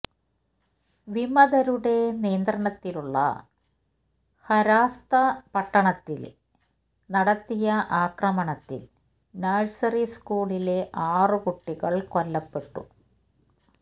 വിമതരുടെ നിയന്ത്രണത്തിലുള്ള ഹരാസ്ത പട്ടണത്തില് നടത്തിയ ആക്രമണത്തില് നഴ്സറി സ്കൂളിലെ ആറുകുട്ടികള് കൊല്ലപ്പെട്ടു